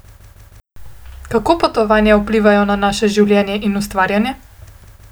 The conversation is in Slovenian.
Kako potovanja vplivajo na vaše življenje in ustvarjanje?